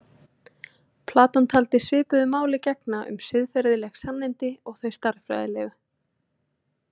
Platon taldi svipuðu máli gegna um siðferðileg sannindi og þau stærðfræðilegu.